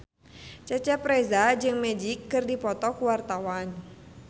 Cecep Reza jeung Magic keur dipoto ku wartawan